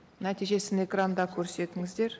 нәтижесін экранда көрсетіңіздер